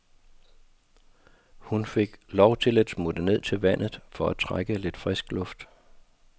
Hun fik lov til at smutte ned til vandet for at trække lidt frisk luft.